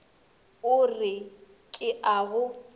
o re ke a go